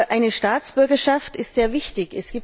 Eine Staatsbürgerschaft ist sehr wichtig.